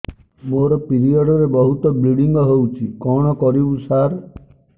ମୋର ପିରିଅଡ଼ ରେ ବହୁତ ବ୍ଲିଡ଼ିଙ୍ଗ ହଉଚି କଣ କରିବୁ ସାର